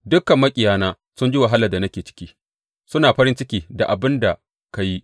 Dukan maƙiyana sun ji wahalar da nake ciki; suna farin ciki da abin da ka yi.